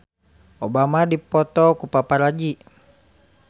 Obama dipoto ku paparazi